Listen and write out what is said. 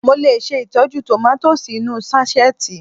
Mo lè ṣe ìtọ́jú tòmátósì inú ú sáṣẹ́ẹ̀tì